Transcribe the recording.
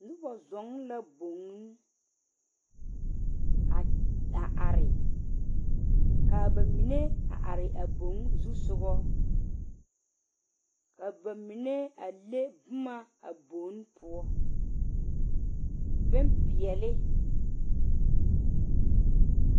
Noba zuo la boŋ a are kaa ba mine are a bogo zusogo kaa ba mine lege boma a bone poɔ bene peɛle.